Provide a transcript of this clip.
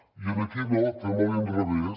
i aquí no fem a l’inrevés